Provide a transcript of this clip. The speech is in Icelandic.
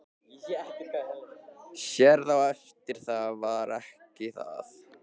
Sérð á eftir það var ekki það.